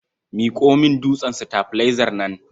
Miƙo min dutsen sitabilaizar nan.